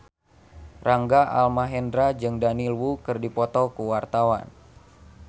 Rangga Almahendra jeung Daniel Wu keur dipoto ku wartawan